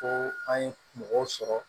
Ko an ye mɔgɔw sɔrɔ